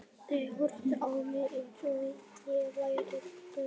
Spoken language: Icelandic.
Þeir horfðu á mig eins og ég væri biluð.